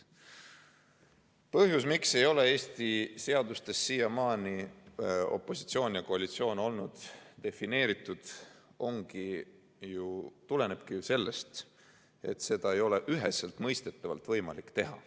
Põhjus, miks ei ole Eesti seadustes siiamaani opositsioon ja koalitsioon olnud defineeritud, tulenebki ju sellest, et seda ei ole üheselt mõistetavalt võimalik teha.